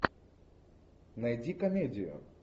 найди комедию